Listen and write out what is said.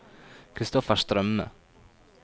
Christoffer Strømme